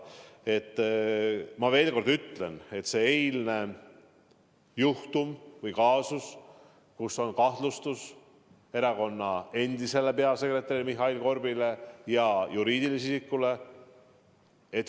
Ma veel kord ütlen, et mis puutub sellesse eilsesse juhtumisse või kaasusesse, siis kahtlustus on esitatud erakonna endisele peasekretärile Mihhail Korbile ja juriidilisele isikule.